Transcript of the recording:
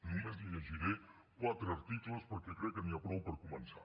només li llegiré quatre articles perquè crec que n’hi ha prou per començar